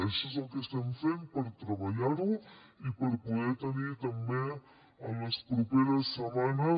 això és el que estem fent per treballar ho i per poder tenir també en les properes setmanes